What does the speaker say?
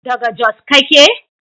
daga Jos kake?